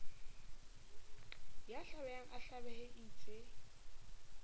ya hlabehang a hlabehe eitse